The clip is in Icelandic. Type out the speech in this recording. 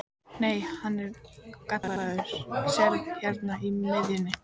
Nei, hann er gallaður, sérðu hérna í miðjunni.